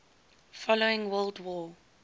following world war